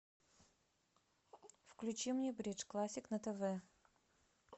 включи мне бридж классик на тв